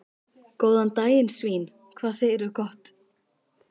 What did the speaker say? Góðan daginn svín, hvað segirðu gott?